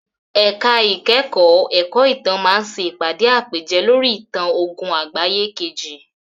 Ẹ̀ka ìkẹ́kọ̀ọ́ ẹ̀kọ́ ìtàn máa ṣe ìpàdé àpèjẹ lórí ìtàn ogún àgbáyé kejì.